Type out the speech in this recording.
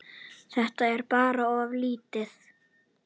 Þetta er bara of lítið.